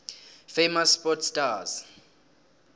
famous sport stars